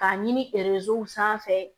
K'a ɲini sanfɛ